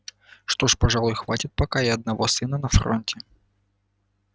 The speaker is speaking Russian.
что ж пожалуй хватит пока и одного сына на фронте